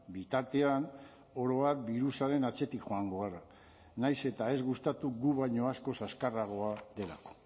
bitartean oro har birusaren atzetik joango gara nahiz eta ez gustatu gu baino askoz azkarragoa delako